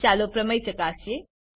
ચાલો પ્રમેય ચકાસીએ